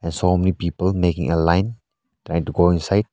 they are so many people making a line trying to go inside.